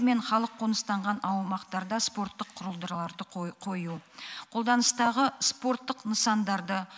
мен халық қоныстанған аумақтарда спорттық құрылдыларды қой қою қолданыстағы спорттық нысандарды